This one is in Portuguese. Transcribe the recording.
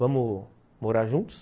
Vamos morar juntos?